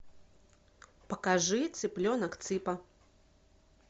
покажи цыпленок цыпа